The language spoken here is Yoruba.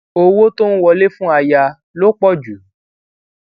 owó tó ń wọlé fún aya ló pò ju